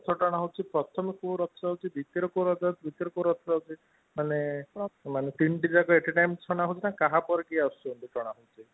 ରଥ ଟଣା ହୌଛି ପ୍ରଥମେ କୋଉ ଦିତୀୟ ରେ କୋଉ ରଥ ଯାଉଛି ତୃତୀୟ ରେ କୋଉ ରଥ ଯାଉଛି ମାନେ ମାନେ ତିନିଟି ଯାକ ନା କାହା ପରେ କିଏ ଆସୁଛନ୍ତି କଣ